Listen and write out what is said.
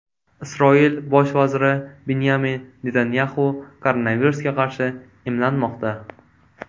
Isroil bosh vaziri Binyamin Netanyaxu koronavirusga qarshi emlanmoqda.